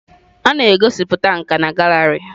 A na-egosipụta nka na gallery.